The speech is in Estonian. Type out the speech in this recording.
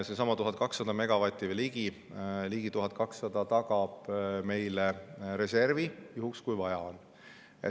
Seesama ligi 1200 megavatti tagab meile reservi juhuks, kui seda vaja on.